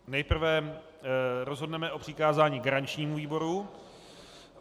Nejprve rozhodneme o přikázání garančnímu výboru.